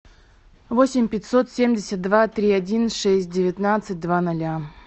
восемь пятьсот семьдесят два три один шесть девятнадцать два ноля